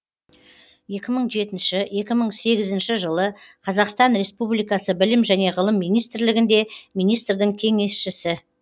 екі мың жетінші екі мың сегізінші жылы қазақстан республикасы білім және ғылым министрлігінде министрдің кеңесшісі